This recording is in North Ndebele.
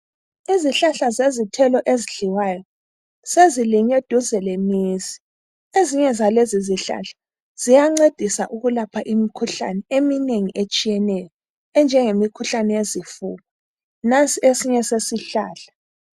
Izihlahla zezithelo ezidliwayo, sezilinywe duze lemizi. Ezinye zalezi zihlahla ziyancedisa ukulapha imikhuhlane eminengi etshiyeneyo, enjenge mikhuhlane yezifuba. Nansi esinye sesihlahla.